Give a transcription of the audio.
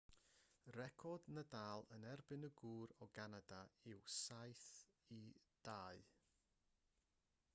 record nadal yn erbyn y gŵr o ganada yw 7-2